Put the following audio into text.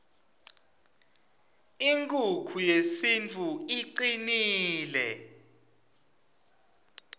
inkukhu yesintfu icnile